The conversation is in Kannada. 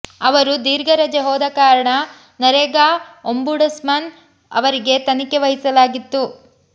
ಅವರು ದೀರ್ಘ ರಜೆ ಹೋದ ಕಾರಣ ನರೇಗಾ ಒಂಬುಡ್ಸಮನ್ ಅವರಿಗೆ ತನಿಖೆ ವಹಿಸಲಾಗಿತ್ತು